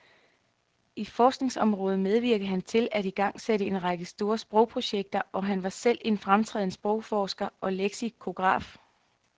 I forskningsrådet medvirkede han til at igangsætte en række store sprogprojekter, og han var selv en fremtrædende sprogforsker og leksikograf.